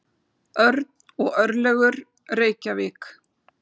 Örn og Örlygur, Reykjavík.